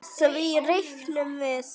Því reiknum við